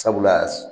Sabula